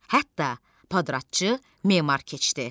Hətta padratçı memar keçdi.